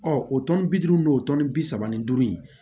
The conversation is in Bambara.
o tɔnni bi duuru n'o tɔni bi saba ni duuru in